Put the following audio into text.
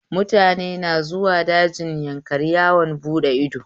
Mutane na zuwa dajin Yankari yawon buɗe ido